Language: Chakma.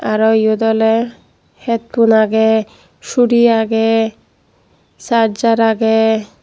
ariw eyot oley het pun agey suri agey sarjar agey.